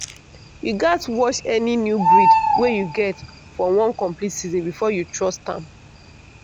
you gatz watch any new breed wey you get for one complete season before you trust am.